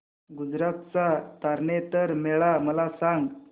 गुजरात चा तारनेतर मेळा मला सांग